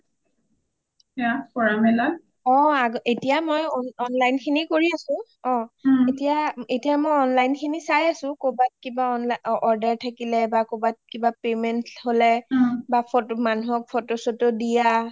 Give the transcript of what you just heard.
এটিয়া মই online খিনি কৰি আছো ওম ওম এটিয়া মই online খিনি চাই আছো কৰবাত কিবা order থাকিলে বা কৰবাত কিবা payment হলে , তাৰপিছত মানুহক photo শ্বটো দিয়া